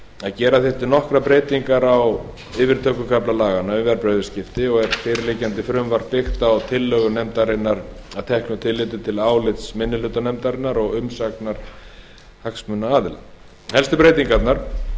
að gera þyrfti nokkrar breytingar á yfirtökukafla laganna um verðbréfaviðskipti og er fyrirliggjandi frumvarp byggt á tillögum meiri hluta nefndarinnar að teknu tilliti til álits minni hluta nefndarinnar og umsagna hagsmunaaðila helstu breytingarnar